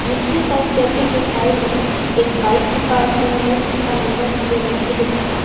नीचले side cafe के side में एक बाइक भी पार्क हुई है जिसका नंबर क्लियर नहीं दिख रहा--